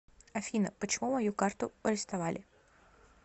афина почему мою карту ористовали